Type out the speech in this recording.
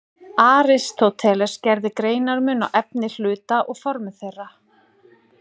Aristóteles gerði greinarmun á efni hluta og formi þeirra.